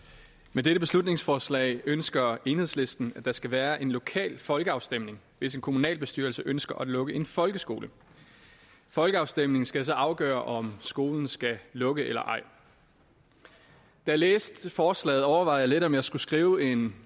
med dette beslutningsforslag ønsker enhedslisten at der skal være en lokal folkeafstemning hvis en kommunalbestyrelse ønsker at lukke en folkeskole folkeafstemningen skal så afgøre om skolen skal lukke eller ej da jeg læste forslaget overvejede jeg lidt om jeg skulle skrive en